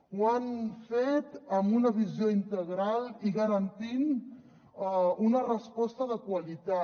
ho han fet amb una visió integral i garantint una resposta de qualitat